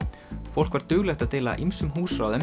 fólk var duglegt að deila ýmsum